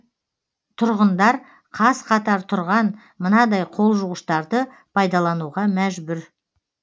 тұрғындар қаз қатар тұрған мынадай қол жуғыштарды пайдалануға мәжбүр